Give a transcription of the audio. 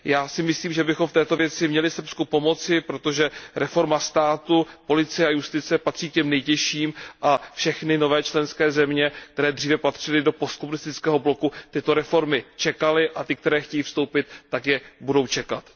Já si myslím, že bychom měli v této věci Srbsku pomoci, protože reforma státu, policie a justice patří k těm nejtěžším a všechny nové členské země, které dříve patřily do postkomunistického bloku, tyto reformy čekaly, a ty, které chtějí vstoupit, tak je budou čekat.